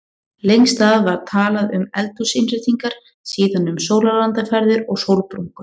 Lengst af var talað um eldhúsinnréttingar, síðan um sólarlandaferðir og sólbrúnku.